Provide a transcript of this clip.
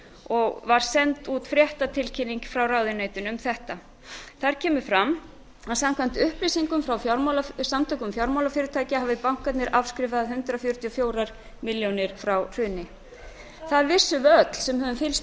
og var send út fréttatilkynning frá ráðuneytinu um þetta þar kemur fram að samkvæmt upplýsingum frá samtökum fjármálafyrirtækja hafi bankarnir afskrifað hundrað fjörutíu og fjóra milljarða frá hruni það vissum við öll sem höfum fylgst